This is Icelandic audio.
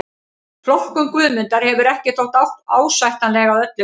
Flokkun Guðmundar hefur ekki þótt ásættanleg að öllu leyti.